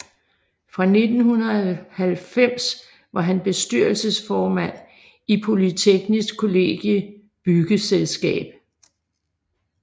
Fra 1990 var han bestyrelsesformand i Polyteknisk Kollegie Byggeselskab